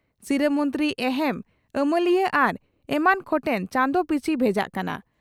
ᱥᱤᱨᱟᱹ ᱢᱚᱱᱛᱨᱤ ᱮᱦᱮᱢ ᱟᱹᱢᱟᱹᱞᱤᱭᱟᱹ ᱟᱨ ᱮᱢᱟᱱ ᱠᱚᱴᱷᱮᱱ ᱪᱟᱸᱫᱚ ᱯᱤᱪᱷᱤ ᱵᱷᱮᱡᱟᱜ ᱠᱟᱱᱟ ᱾